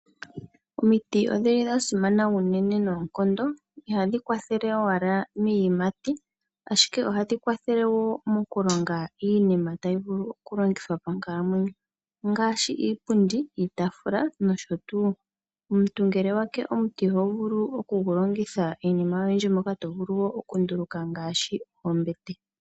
Omiti odhili dha simana unene noonkondo, ihadhi kwathele owala miiyimati ashike ohadhi kwathele wo mokulonga iinima tayi vulu okulongithwa monkalamweyo ongaashi iipundi, iitafula nosho tuu. Omuntu ngele owa ke omuti oho vulu okugu longitha iinima oyindji moka to vulu wo okunduluka ngaashi ombete.